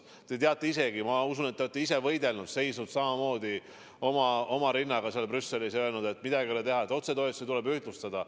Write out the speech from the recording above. Te teate ise ka, ma usun, te olete ise võidelnud, seisnud samamoodi, rind ees, seal Brüsselis ja öelnud, et midagi ei ole teha, otsetoetusi tuleb ühtlustada.